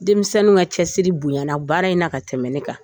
Denmisɛnninw ka cɛsiri bonyana baara in na ka tɛmɛ ne kan